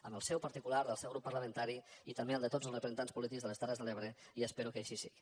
amb el seu particular del seu grup parlamentari i també el de tots els representants polítics de les terres de l’ebre i espero que així sigui